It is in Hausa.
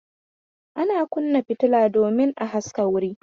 Ana kunna fitila domin a haska wuri.